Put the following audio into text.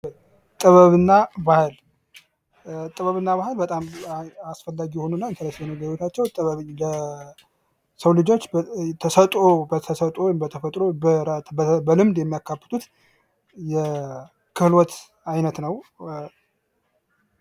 ጥበብና ባህል ጥበብና ባህል በጣም አስፈላጊ የሆኑና ኢንተረስቲንግ የሆኑ ለሰው ልጆች ተሰጥዖ በተሰጦ በልምድ የሚያከብቱት የክህሎት አይነት ነው።